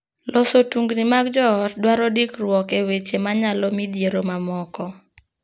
Loso tungni mag joot dwaro dikruok e weche ma nyalo midhiero mamoko.